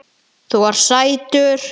Þú ert sætur!